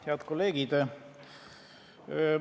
Head kolleegid!